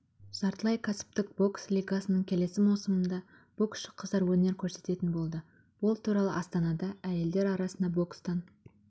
жартылай кәсіптік бокс лигасының келесі маусымында боксшы қыздар өнер көрсететін болды ол туралы астанада әйелдер арасында бокстан